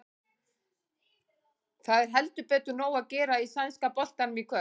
Það er heldur betur nóg að gera í sænska boltanum í kvöld.